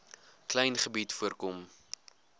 klein gebied voorkom